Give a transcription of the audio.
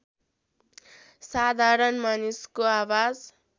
साधारण मानिसको आवाज